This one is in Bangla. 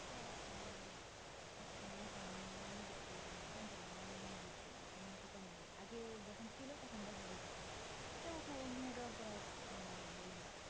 আগে যেকোন ছিল তখন দেখা হয়েছে ইটা উঠিয়া নিয়ে যাবার পর আর মানে হয় না